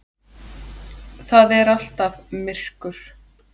Það er alltaf myrkur.